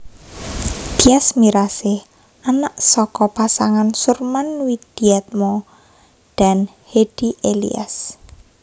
Tyas Mirasih anak saka pasangan Surman Widiatmo dan Hedy Elias